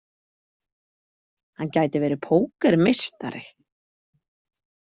Hann gæti verið pókermeistari.